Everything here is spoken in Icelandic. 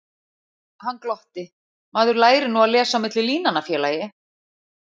Hann glotti: Maður lærir nú að lesa á milli línanna, félagi